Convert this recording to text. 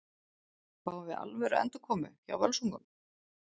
Fáum við alvöru endurkomu hjá Völsungum?